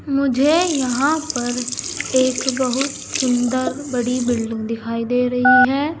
मुझे यहां पर एक बहुत सुंदर बड़ी बिल्डिंग दिखाई दे रही है।